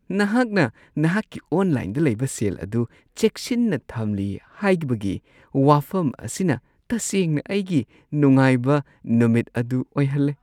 ꯅꯍꯥꯛꯅ ꯅꯍꯥꯛꯀꯤ ꯑꯣꯟꯂꯥꯏꯟꯗ ꯂꯩꯕ ꯁꯦꯜ ꯑꯗꯨ ꯆꯦꯛꯁꯤꯟꯅ ꯊꯝꯂꯤ ꯍꯥꯏꯕꯒꯤ ꯋꯥꯐꯝ ꯑꯁꯤꯅ ꯇꯁꯦꯡꯅ ꯑꯩꯒꯤ ꯅꯨꯡꯉꯥꯏꯕ ꯅꯨꯃꯤꯠ ꯑꯗꯨ ꯑꯣꯏꯍꯜꯂꯦ꯫ (ꯃꯔꯨꯞ ꯲)